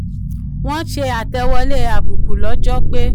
wọ́n ṣe àtẹ̀wọlé àbùkù lọ́jọ́ pé